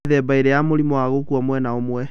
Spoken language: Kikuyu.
Kwĩ mĩthemba ĩrĩ ya mũrimũ wa gukua mwena ũmwe